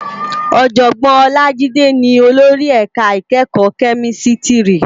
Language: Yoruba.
Òjògbòn Olajide ni ólóri èká ikèékò Kèmìsítìrí